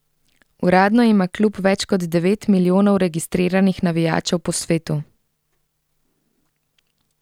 Uradno ima klub več kot devet milijonov registriranih navijačev po svetu.